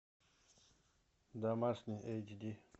домашний эйчди